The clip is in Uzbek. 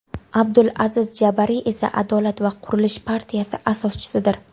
Abdul Aziz Jabariy esa Adolat va qurilish partiyasi asoschisidir.